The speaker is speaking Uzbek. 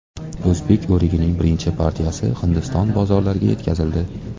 O‘zbek o‘rigining birinchi partiyasi Hindiston bozorlariga yetkazildi.